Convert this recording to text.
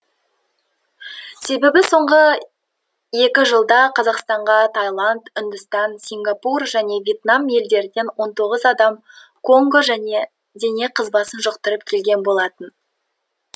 себебі соңғы екі жылда қазақстанға тайланд үндістан сингапур және вьетнам елдерінен он тоғыз адам конго және дене қызбасын жұқтырып келген болатын